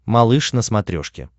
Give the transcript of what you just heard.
малыш на смотрешке